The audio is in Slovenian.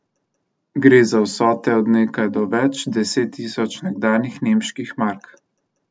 Gre za vsote od nekaj do več deset tisoč nekdanjih nemških mark.